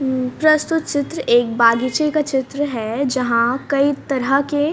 हम्म प्रस्तुत चित्र एक बागीचे का चित्र है जहां कई तरह के--